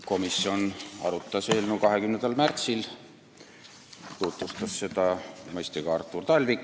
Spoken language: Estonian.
Komisjon arutas eelnõu 20. märtsil ja tutvustas seda mõistagi Artur Talvik.